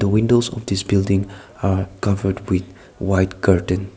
windows of this building are covered with white curtain.